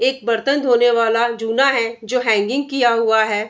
एक बर्तन धोने वाला जूना है जो हैंगिंग किया हुआ है।